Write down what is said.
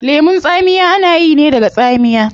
Lemun tsamiya ana yi ne daga tsamiya